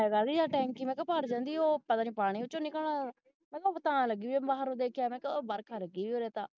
ਲਗ ਲਈਆਂ ਟੈਂਕੀ ਮੈਂ ਕਿਹਾ ਭਰ ਜਾਂਦੀ ਉਹ ਪਤਾ ਨਹੀਂ ਉਹਦੇ ਵਿੱਚੋਂ ਪਾਣੀ ਨਿਕਲ ਮੈਨੂੰ ਲਗੀ ਬਾਹਰ ਹੈ ਉਹ ਦੇਖਿਆ ਮੈਂ ਕਿਹਾ ਬਰਖਾ ਲਗੀ ਉਰੇ ਤਾਂ